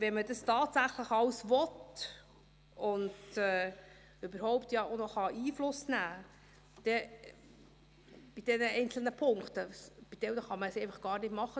Wenn man dies alles tatsächlich will und bei den einzelnen Punkten überhaupt auch noch Einfluss nehmen kann – bei manchen kann man es einfach gar nicht machen;